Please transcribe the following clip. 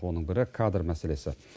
оның бірі кадр мәселесі